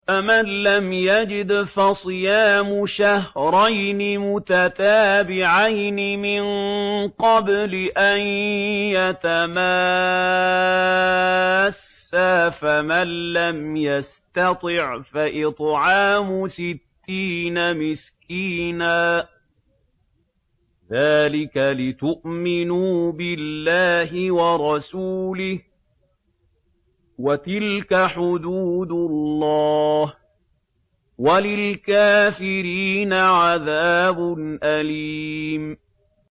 فَمَن لَّمْ يَجِدْ فَصِيَامُ شَهْرَيْنِ مُتَتَابِعَيْنِ مِن قَبْلِ أَن يَتَمَاسَّا ۖ فَمَن لَّمْ يَسْتَطِعْ فَإِطْعَامُ سِتِّينَ مِسْكِينًا ۚ ذَٰلِكَ لِتُؤْمِنُوا بِاللَّهِ وَرَسُولِهِ ۚ وَتِلْكَ حُدُودُ اللَّهِ ۗ وَلِلْكَافِرِينَ عَذَابٌ أَلِيمٌ